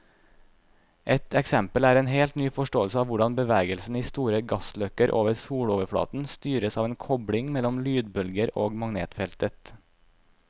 Et eksempel er en helt ny forståelse av hvordan bevegelsen i store gassløkker over soloverflaten styres av en kobling mellom lydbølger og magnetfeltet.